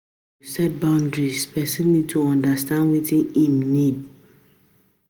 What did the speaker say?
To set boundries person need to understand wetin im need